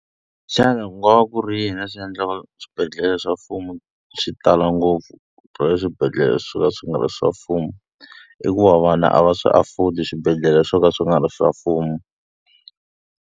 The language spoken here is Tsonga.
Xana ku nga va ku ri yini swi endla swibedhlele swa mfumo swi tala ngopfu bya le swibedhlele swo ka swi nga ri swa mfumo? I ku va vana a va swi afford-i swibedhlele swo ka swi nga ri swa mfumo.